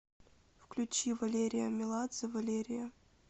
включи валерия меладзе валерия